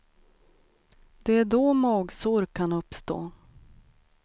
Det är då magsår kan uppstå.